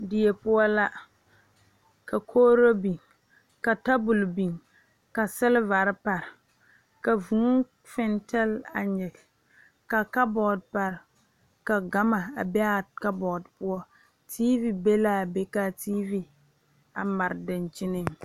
Diie poɔ la ka kogro biŋ ka tabol biŋ ka silivare pare ka vūū fintil a nyige ka ksbɔɔd pare ka gama a be aa kabɔɔd poɔ teevi be laa be kaa teevi a mare dankyiniŋ.